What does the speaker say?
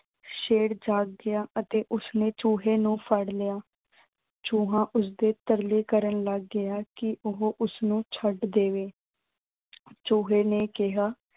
ਸ਼ੇਰ ਜਾਗ ਗਿਆ ਅਤੇ ਉਸਨੇ ਚੂਹੇ ਨੂੰ ਫੜ ਲਿਆ। ਚੂਹਾ ਉਸਦੇ ਤਰਲੇ ਕਰਨ ਲੱਗ ਗਿਆ ਕਿ ਉਹ ਉਸਨੂੰ ਛੱਡ ਦੇਵੇ। ਚੂਹੇ ਨੇ ਕਿਹਾ।